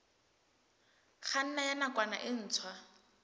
kganna ya nakwana e ntshwa